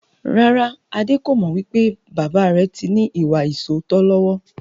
Rárá, Adé kò mọ wípé bàbà rẹ tí ní ìwà ìsootọ́ lọ́wọ́.